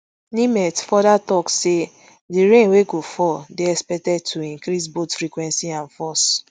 nimet futher tok say di rain wey go fall dey expected to increase both frequency and force